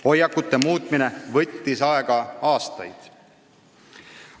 Hoiakute muutmine võttis aega aastaid.